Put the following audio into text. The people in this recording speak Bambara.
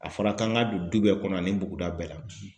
A fɔra k'an ka don du bɛɛ kɔnɔ ani buguda bɛɛ la